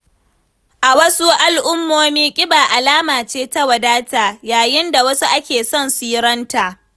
A wasu al’ummomi, kiba alama ce ta wadata, yayin da a wasu ake son siranta.